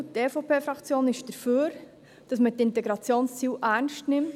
Die EVP-Fraktion ist dafür, dass man die Integrationsziele ernst nimmt.